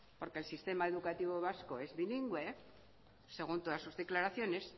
porque el sistema educativo vasco es bilingüe según todas sus declaraciones